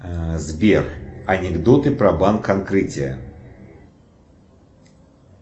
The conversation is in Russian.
сбер анекдоты про банк открытие